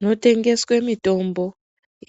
Munotengeswe mitombo